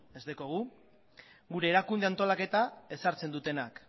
ez daukagu gure erakunde antolaketa ezartzen dutenak